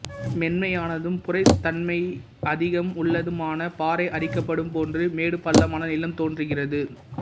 மென்மையானதும் புரைத்தன்மை அதிகம் உள்ளதுமான பாறை அரிக்கப்படும் போது மேடுபள்ளமான நிலம் தோன்றுகிறது